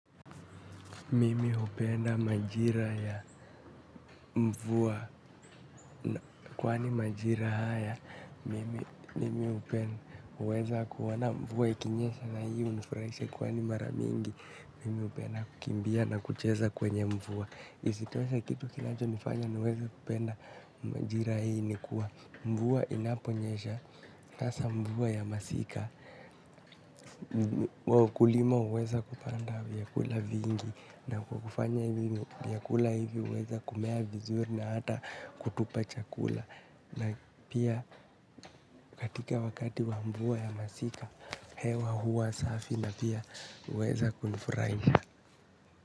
Mimi hupenda majira ya mvua kwani majira haya, mimi hupenda uweza kuona mvua ikinyesha na hii hunifurahisha kwani mara mingi. Mimi hupenda kukimbia na kucheza kwenye mvua. Isitoshe kitu kinacho nifanya niweza kupenda majira hii ni kuwa mvua inaponyesha. Hasa mvua ya masika wakulima huweza kupanda vyakula vingi. Na kwa kufanya hivi vyakula hivi huweza kumea vizuri na hata kutupa chakula. Na pia katika wakati wa mvua ya masika hewa huwa safi na pia huweza kunifurahisha.